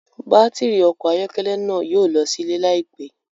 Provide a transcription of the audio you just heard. Batiri ọkọ ayọkẹlẹ náà yóò lọ silẹ laipẹ